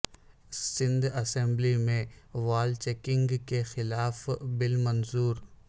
Sindh assembly میں wall chalking کے خلاف بل منظور